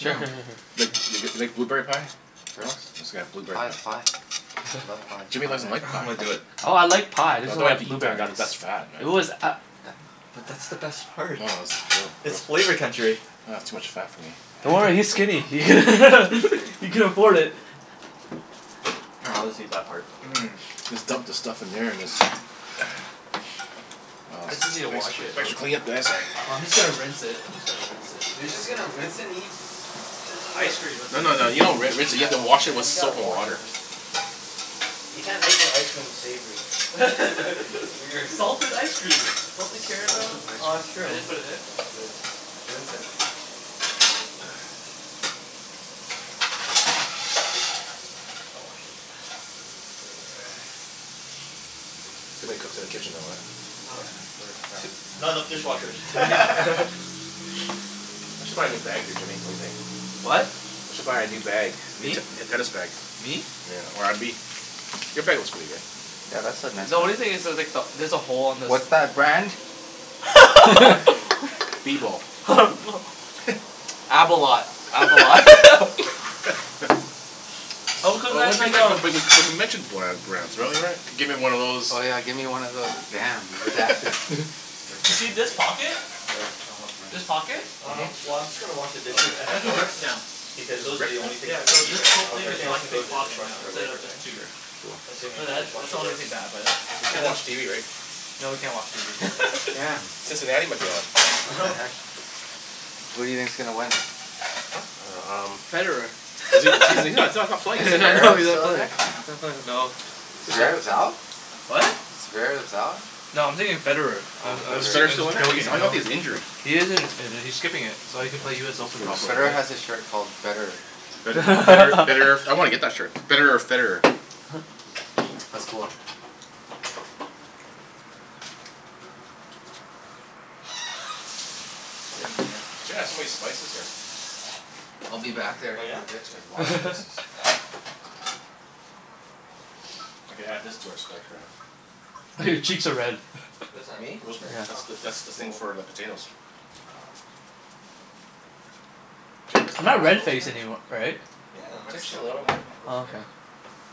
Yeah. Sure sure sure sure. Like th- Yeah. g- like blueberry pie? Sure. It's got a blueberry Pie is pie. pie. I love pie. Jimmy Pie and doesn't like ice pie. I'm gonna cream. do it. Oh, I like pie. I No, just you don't don't have to like eat that. That blueberries. that's fat, It man. was a- i- But that's the best part. No, no that's It's real flavor gross. country. Aw, too much fat for me. Yeah, Don't worry, he's man. skinny. He can afford it. Ah I'll just eat that part. Mmm. Just dump the stuff in there and is Wow s- It's easy to wash thanks it thanks out. for cleaning up guys. Sorry. Oh, I'm just gonna rinse it. I'm just gonna rinse it. You're just gonna rinse and eat Ice cream with No it. no no, you don't ri- rinse it. You have to Oh wash it with man, you gotta soap and wash water. this. You can't make your ice cream savory. That's weird. Salted ice cream! Salted Salted caramel. ice No. Oh, that's cream. true. Can I just put it in? Let's do it. Rinse it. Can't rinse it. I'll wash it. Too many cooks in the kitchen though, uh? Yeah, uh-huh. we're crowded now. Not enough dishwashers. I should buy a new bag here Jimmy. Whaddya think? What? I should buy a new bag. Me t- Me? te- tennis bag. Me? Yeah, or abi- your bag looks pretty good. Yeah, that's a nice The only one. thing is there's like the, there's a hole on this What's that brand? B bowl. Abolat. Abolat. Oh, Oh cuz what then we they m- go but we we c- we mentioned bland brands really, right? Gimme one of those Oh yeah, give me one of those damn, redacted Do you see redacted. this pocket? Sure, I'll help rinse. This pocket? Mhm. Um, well I'm just gonna wash the dishes and the Has a forks rip now. because It's those are the ripped now? only things Yeah, that so we need this right whole now. Okay, thing is Everything else one can go sure. in big the pocket now, dishwasher for Mm. instead later, of right? just two. Sure. Cool. Assuming But the that that's dishwasher the only works. thing bad about it. We It can't didn't watch TV, right? No, we can't watch TV. Oh, damn. Damn. Cincinnati might be on. What the heck? Who do you think's gonna win? Huh? I dunno, um Federer. Is he is he he's not he's not playing, Is is he? I know Zverev he's not still in playing. there? I know. Stat Zverev's out? What? Zverev's out? No, I'm thinking of Federer. I'm Oh, I'm Is s- Federer Federer. I'm still in just there? He's, joking, I you thought know? he's injured? He is Yeah. in- injured. He's skipping it. So Oh, that he can play okay. US Open probably, Federer right? has a shirt called betterer. Bet- better betterer I wanna get that shirt. Betterer or Federer. That's cool. Sit in here. Jen has so many spices here. I'll be back there Oh in yeah? a bit. She has a lot of spices. I could add this to our spike rack. Oh, your cheeks are red. What is that? Me? Rosemary. Yeah. That's the, Oh. that's the thing Cool. for the potatoes. Oh. Jen doesn't I'm not have red-face rosemary? anym- right? Yeah. How could Just she a have not little ro- bit. not Oh, rosemary? okay.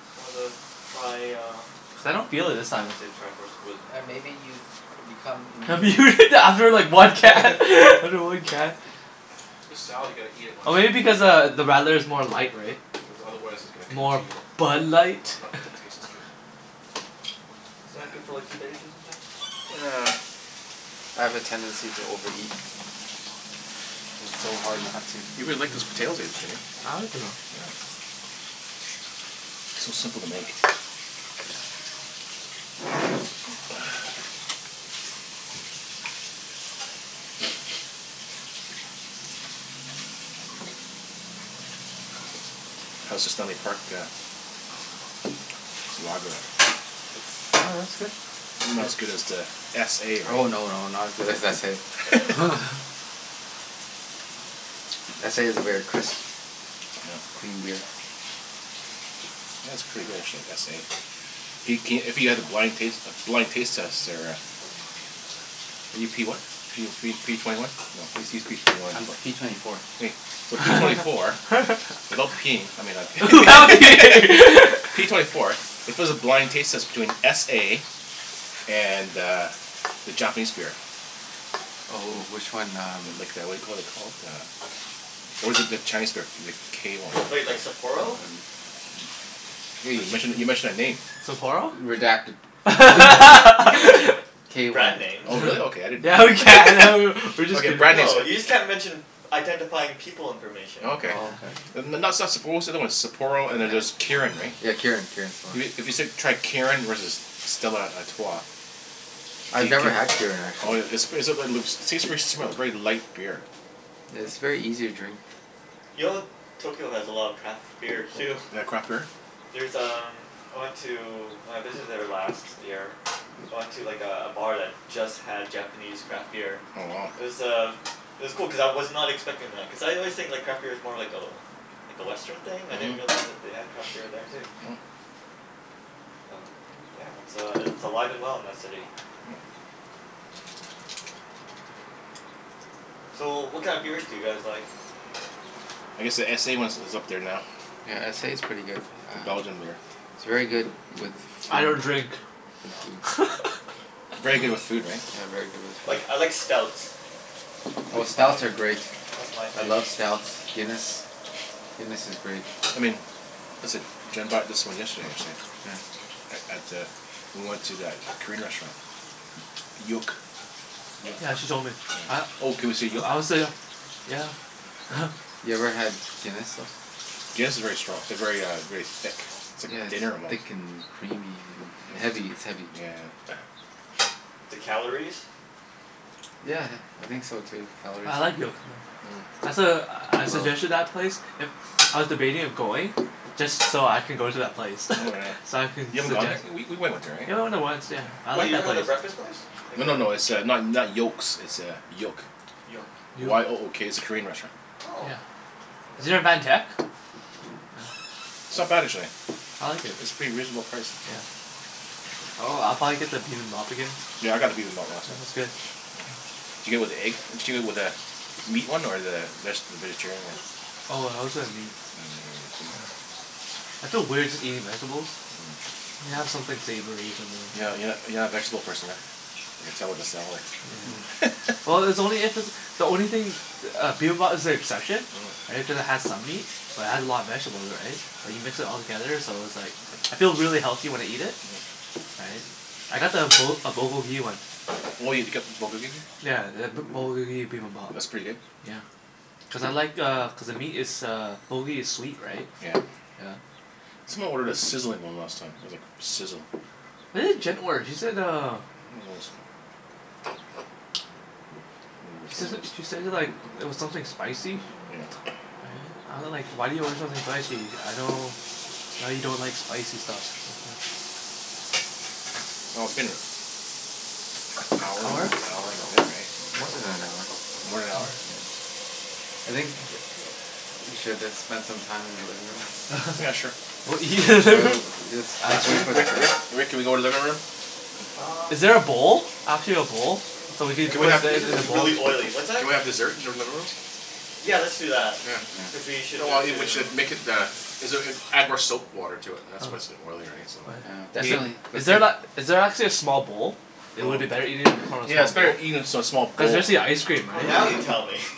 Just wanted to try uh Cuz I don't feel it this I time. wanna say the tri-force of wisdom Yeah, maybe but you've become That'd be immune? weird to after like one can after one can. This salad, you gotta eat it when Oh, it's maybe f- because uh, the radler is more light, right? Cuz otherwise it's gonna More congeal. Bud Light? Not not doesn't taste as good. Isn't it good for like two days or something? I have a tendency to overeat. It's so hard not to. You really like those Mm. potatoes, eh Jimmy? I like it though. Yeah. So simple to make. Yeah. How's the Stanley Park uh Lager? Yeah, that's good. Not as good as the s a Oh right? no, no, not as good as s a S a is a very crisp Yeah. clean beer. Yeah, it's pretty good actually. S a. Do c- if you had a blind taste blind taste test there uh Are you p what? P oh three p twenty one? No, I just use p twenty one and I'm twen- p twenty four. Hey, so p twenty four without peeing, I mean I c- Without peeing. P twenty four if it was a blind taste test between s a and uh, the Japanese beer Oh oh, which one? Um Like the whaddya call it you call it? Uh Or is it the Chinese beer? The k one. Wait, like Sapporo? Hey, you Which mentioned a, you mentioned a name. Sapporo? Redact- No, you can you can you can mention b- K one. brand names. Oh really? Okay. uh-huh. I didn't Yeah, we can! A know. w- w- we're just Okay, kidding. brand names No, you just a- can't mention identifying people information. Oh, okay. Oh, okay. Yeah N- n- not stuff Sap- but what's the other one? Sapporo and then there's Yeah. Kirin, right? Yeah, Kirin. Kirin's the one. If you if you s- tried Kirin versus Stella Artois I've could never had c- Kirin, Oh actually. yeah, it's seems pretty smooth. Very light beer. Yeah, is very easy to drink. Yo Tokyo has a lot of craft beer too. They got craft beer? There's um, I went to when I visited there last year I went to like a a bar that just had Japanese craft beer. Oh, wow. It was uh, it was cool cuz I was not expecting that. Cuz I always think like craft beer's more like a like a Western thing. I didn't Mhm. realize that they had craft beer there too. Oh. But yeah, it's uh i- it's alive and well in that city. Mm. So, what kind of beers do you guys like? I guess the s a ones is up there now. Yeah, S a's Oh. pretty good. It's a Uh Belgian beer. It's very good with I don't food. drink. With Oh. food. Very good with food, right? Yeah, very good with food. Like, I like stouts. Oh, That's my, stouts are great. that's my I thing. love stouts. Guinness. Guinness is great. I mean This id- Jenn bought this one yesterday actually. Yeah. A- at the we went to that Korean restaurant. Yook. Yook. Yeah, she told me. Yeah. A- Oh, can we say Yook? I wanna say uh Yeah. Oh. You ever had Guinness, though? Guinness if very stro- very uh, very thick. It's Yeah, like dinner it's almost. thick and creamy Mm. and Yeah heavy. It's heavy. yeah yeah. The calories? Yeah, I think so, too. Calories. I like Yook, no. Mm. That's a, I Woah. suggested that place. If I was debating of going just so I can go to that place. Oh yeah. So I can You haven't gone there? suggest W- we went went there, right? Yeah, we went there once, yeah. I Wait, like you're that talking about place. the breakfast place? Like No the no no, it's uh not not Yokes, it's uh, Yook. Yoke. Yook. Y o o k. It's a Korean restaurant. Oh. Yeah. I've Is there a never Van Tech? Oh. It's not bad actually. I like it. It's pretty reasonable priced. Yeah. Oh, I'll probably get the bibimbap again. Yeah, I got the bibimbap last It time. was good. Yeah. Did you get it with the egg? Did you get it with a meat one or the veg- vegetarian one? Oh, I always got a meat. Oh, yeah, did you? Yeah. I feel weird just eating vegetables. Mm. You have Mm. something savory or something. You're not you're not you're not a vegetable person, huh? I could tell with the salad. Mm. Yeah. Well, it's only if it's the only thing the uh, bibimbap is the exception. Mm. Right? Because it has some meat. But it has a lot of vegetables, right? Like, you mix it all together so it's like I feel really healthy when I eat it. Mhm. Right? I got the Bu- a Bulgogi one. Oh, you'd get Yeah, the B- Bulgogi Bibimbap. That's pretty good? Yeah. Cuz I like uh, cuz the meat is uh Bulgogi is sweet, right? Yeah. Yeah. Someone ordered a sizzling one last time. I was like, sizzle. What did Jen order? She said uh I don't know this time. she says it, she said it like it was something spicy? Yeah. Right? I wa- like, why do you order something spicy? I know know you don't like spicy stuff. Mhm. Oh, it's been a hour and Hour? hour and a bit, right? More than an hour. More than an hour? Mm. Yeah. I think we should have spent some time in the living room. Yeah, sure. What, Well w- you let's let's wait Actually for the Rick thing. Rick Rick, can we go to the living room? Um Is there a bowl? Actually a bowl? So we can Can we Everything's, have these are in a just bowl? really oily. What's that? Can we have dessert in your living room? Yeah, let's do that. Yeah. Cuz Yeah. we should Oh well, move it to we should make it the is it uh add more soap water to it, and that's why it's so Oh. oily, right? So Oh yeah. Yeah, Is In th- definitely. is Let's there la- see is there actually a small bowl? It Oh. would be better eating from a Yeah, it's small bowl. better eating a s- small Cuz bowl. especially ice cream, Oh, right? now you tell me.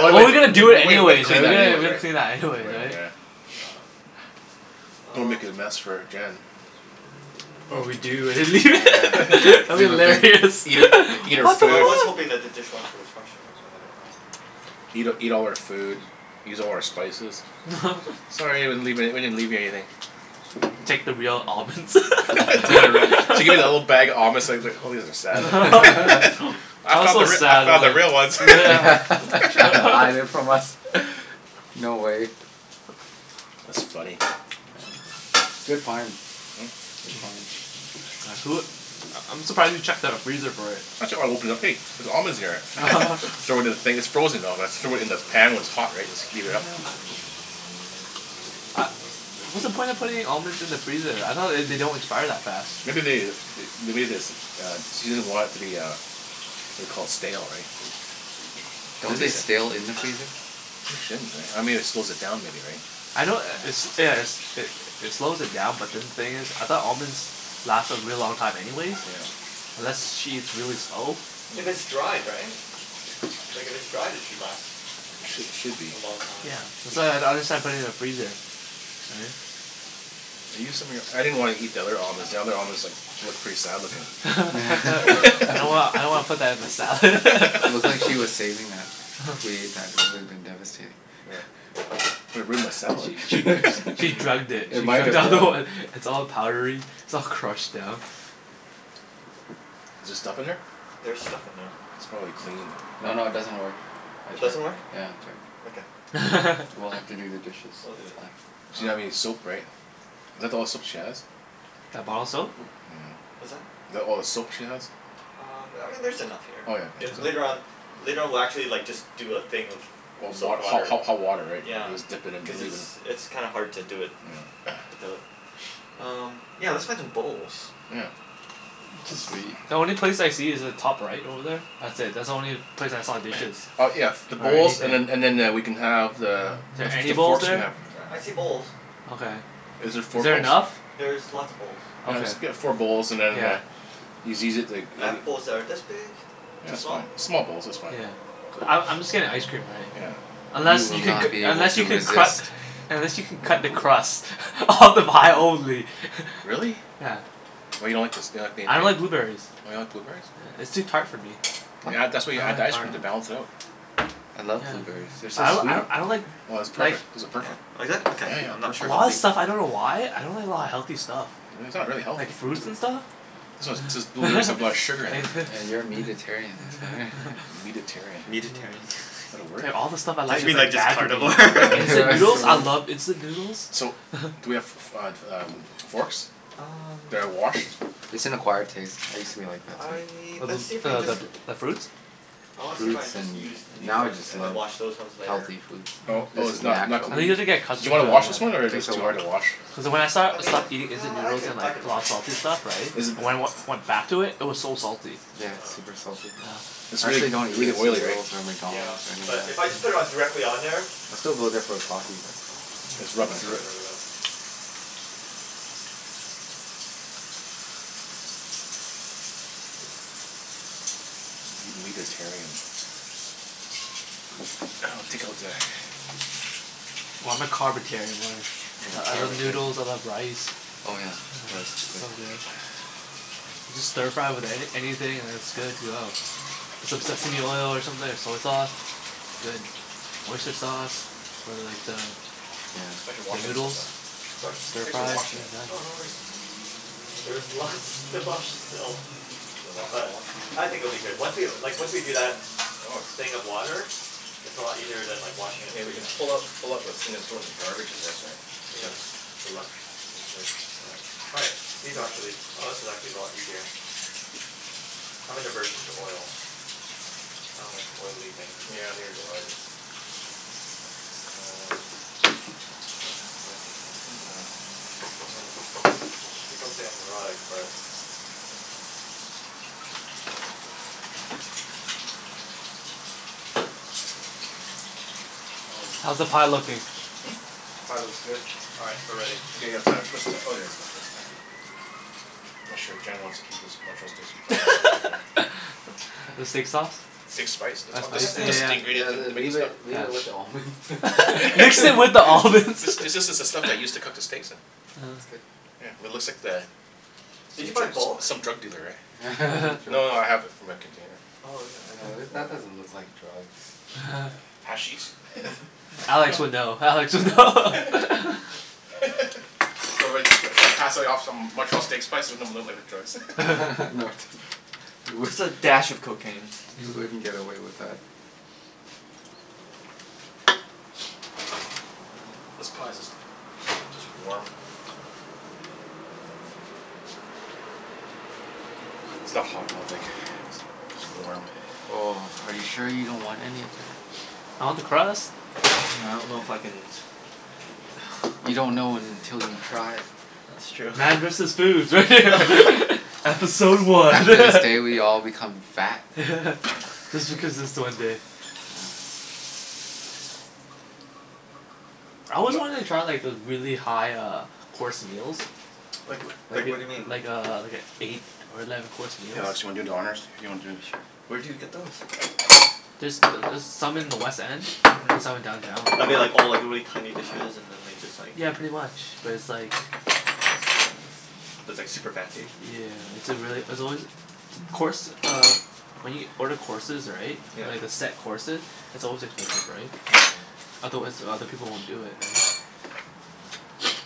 Well we Well, we're gonna do we it we would have anyways, right? cleaned We that gotta anyways, we gotta right? clean that Right, anyways, right? yeah. Yeah. Don't wanna make Um a mess for Jen. Or we do and then Yeah, lea- yeah. that'd be Leave a big hilarious. Eat her eat her What the Well, I fuck? food. was hoping that the dishwasher was functional but I don't know. Eat eat all her food. Use all her spices. Sorry, we didn't leave any we didn't leave you anything. Take the real almonds. Yeah right. She gets a little bag of almonds it's like it's like probably has a sad look on I I was found the so r- I sad found about the real ones. Yeah. She had to hide it from us. No way. That's funny. Yeah. Good find. Good find. Yeah, who u- I I'm surprised you checked the freezer for it. I ch- I opened it up. Hey, there's almonds in here. Throw it in the thing it's frozen though, that's throw it in the pan when it's hot, right? Just Oh heat it yeah. up. U- what's the point of putting almonds in the freezer? I thought they d- don't expire that fast. Maybe they th- they made this uh, she doesn't want it to be uh whaddya call it? Stale, right? Don't Don't they they Taste stale in the freezer? They shouldn't, right? I mean it slows it down maybe, right? I know i- it's yeah it's it it slows it down but then the thing is, I thought almonds lasted a really long time anyways? Yeah. Unless she eats really slow? If it's Mm. dried, right? Like, if it's dried it should last Sh- should be. a long time. Yeah, that's why I I don't understand putting it in the freezer. Right? I used some of your, I didn't wanna eat the other almonds, the other almonds like looked pretty sad looking. I don't wanna, I don't wanna put that in the salad. It looked like she was saving that. If we ate that it would have been devastating. Yeah. It would've ruined my She she salad. she drugged it. It She might drugged have, all the yeah. one. It's all powdery. It's all crushed down. Is there stuff in Hmm, there? there's stuff in there. It's probably clean. No, no it doesn't work. I It checked. doesn't work? Yeah, I checked. Okay. We'll have to do the dishes. We'll do It's it. fine. She doesn't have any Um soap, right? Is that the all the soap she has? That bottle soap? Yeah. What's that? Is that all the soap she has? Um, I mean there's enough here. Oh yeah I- Oh later yeah. on, later on we'll actually like just do a thing of Of wa- soap ho- water. ho- hot water, right? Yeah. We'll just Yeah. dip it in, we'll Cuz leave it's it it's kinda hard to do it Yeah. without. Um, yeah, let's find some bowls. Yeah. Jus- Sweet. the only place I see is the top right over there. That's it. That's the only place I saw dishes. Oh, yeah, the Or bowls anything. and then and then eh- we can have the Is the there f- any the bowls forks we there? have. Yeah, I see bowls. Okay. Is there four Is there bowls? enough? There's lots of bowls. I Okay. guess we got four bowls and then Yeah. uh yous easy it to g- I have bowls that are this big. Yeah, Too that's small? fine. Small bowls. That's fine. Yeah. Small bowls? I I'm just getting ice cream, right? Yeah. Unless You will you can c- not be able unless to you can resist. cru- unless you can cut the crust off the pie only. Really? Yeah. What, you don't like the s- you don't like being I don't like a blueberries. Oh, you don't like blueberries? Yeah, it's too tart for me. You What? add that's why you I don't add the like ice cream, tart. to balance it Oh. out. I love Yeah. blueberries. They're so I d- sweet. I d- I don't like Well this is like perfect. These are Yeah? perfect. Oh, is it? Yeah, Okay. I'm yeah. not For sure a how lot sure. of big y- stuff. I don't know why. I don't like a lot of healthy stuff. Really? It's not really healthy. Like fruits and stuff. blueberries have a lot of sugar in it. Yeah. Yeah, you're a Mhm. meatetarian, that's why. Meatetarian. Meatetarian? Yeah. Is that a word? There, all the stuff I Don't like you is mean like like just bad for me. carnivore? Like It's instant noodles? a I word. love instant noodles. So, do we have f- f- uh, um, forks? Um That are washed? It's an acquired taste. I used to be like that too. I, A let's bl- see if we can uh just the bl- Yeah. the fruits? I wanna see if I Fruits can just use and new now I ones just and then love wash those ones later. healthy foods. Oh This Mm. oh is it's not not natural. I think you clean? have to get Do you accustomed to wanna it, wash this Yeah, Yeah. one yeah. or it's takes a too while. hard to wash? Cuz when I st- I mean stopped eating instant yeah, I noodles could, and I like could a lot of wash them salty stuff, right? Is it When th- I wen- went back to it it was so salty. I just Yeah, gotta it's super salty. Yeah. It's I really actually don't really eat oily, instant right? noodles, or Oh, yeah. McDonald's, or anything But like if I just that. put it on Mhm. directly on there I still go there for a coffee, but It's Mm. rubbed this will through get it. rid of it. Meat meatetarian. I'll take out the Well, I'm a carbetarian, really. I I Yeah. love Carbetarian. noodles. I love rice. Oh yeah, Yeah. rice is good. Sounds good. You just stir-fry with anyth- anything and it's good to go. Some sesame oil or something, or soy sauce. Good. Oyster sauce. Or like the Yeah. Thanks for the washing this stuff, noodles. man. Sorry? Thanks for stir-fry, washing shit it. is done. Oh, no worries. There's lots to wash still. Is there lots to But wash? I think it'll be good. Once we, like once we do that Oh, it's thing of water it's a lot easier than washing it And we can freehand, so pull out pull out those things and throw it in the garbage I guess, right? Yeah. All right, these are actually, oh, this is actually a lot easier. I have an aversion to oil. I don't like oily things. Yeah, neither do I l- Um Happened the I mean people say I'm neurotic but Mm. Holy, How's the pie pie looks good. looking? Hmm? Pie looks good. All right, we're ready. Okay, gotta find a twist ti- oh, there's my twist tie. I'm not sure if Jen wants to keep this Montreal steak sp- you probably wanna take it home. The steak sauce? Steak spice. This Oh, al- this spice? Yeah this is yeah the yeah. Yeah, ingredient l- to make the leave it stuff. leave it with the Yeah. almonds. Mix it with the almonds. This is this is the stuff they use to cook the steaks in Yeah. It's good. Yeah. It looks like the Did you n- buy tr- bulk? s- some drug dealer, eh? No no no, I have it my container. Oh yeah, okay. No, th- Cool. Mm. that doesn't look like drugs. Hashish? Alex would know. I Alex would would know. know. Do you want me t- to try pass like off some Montreal steak spice and make it look like drugs? No t- you w- Just a dash of cocaine. You wouldn't get away with that. This pie's just just warm. It's not hot, I don't think. It's warm. Oh, are you sure you don't want any of that? I want the crust. I don't know if I can You don't know until you try. That's true. Man versus food. Yeah. Episode one. After this day we all become fat. Just because it's the one day. Yeah. I Coming always up. wanted to try like those really high uh course meals. Like w- like Like what do you mean? i- like a like i- eight or eleven course Hey meals. Alex, you wanna do the honors? If you wanna do this Sure. Where do you get those? There's th- there's some in the West End. Mhm. There's some in downtown. Are they like all like really tiny dishes and then they just like Yeah, Mm. pretty much but it's like That's cool. it's But it's like super fancy? yeah. It's a really, it's always t- course uh when you order courses, right? Yeah. Like the set courses? It's always expensive, right? Mm. Otherwise other people won't do it, right?